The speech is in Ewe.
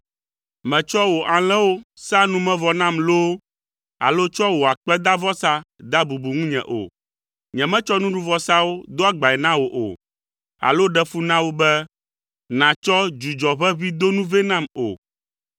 Mètsɔa wò alẽwo saa numevɔ nam loo alo tsɔa wò akpedavɔsa dea bubu ŋunye o. Nyemetsɔ nuɖuvɔsawo do agbae na wò o alo ɖe fu na wo be nàtsɔ dzudzɔʋeʋĩdonu vɛ nam o.